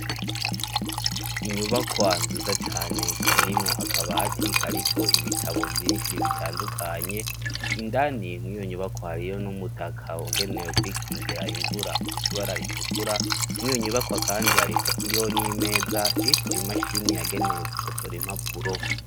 Inyubakwa nziza cane yirimo akabatika, ariko ibitabo vyinshi bitandukanye indani mwiyonyubakwa hariyo n'umutaka wagenewe kwikingira imvura ukusibara ritukura mwiyonyubakwa, kandi hariri yo n'imeza riko imashini yagenewe gukotora impapuro.